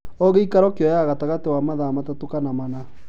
O gĩikaro kĩoyaga gatagatĩ ka mathaa matatũ kana mana